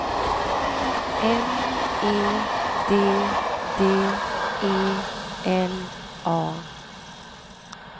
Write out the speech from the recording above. M E D D E L A